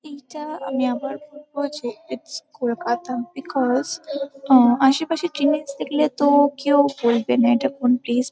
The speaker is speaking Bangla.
'' এইটা আমি আবার বলবো যে ইটস কলকাতা বিকস আ আশেপাশে টীনেজ দেখলে তো কেউ বলবে না এটা কোন প্লেস ।''